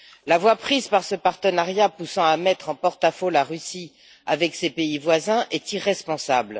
La voie prise par ce partenariat poussant à mettre en porte à faux la Russie avec ses pays voisins est irresponsable.